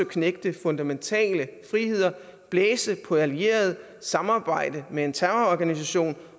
knægte fundamentale friheder blæse på allierede samarbejde med en terrororganisation